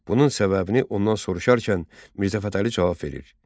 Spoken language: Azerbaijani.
Bunun səbəbini ondan soruşarkən, Mirzə Fətəli cavab verir: